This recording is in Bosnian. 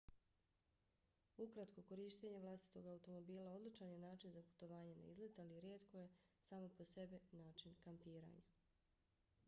ukratko korištenje vlastitog automobila odličan je način za putovanje na izlet ali rijetko je samo po sebi način kampiranja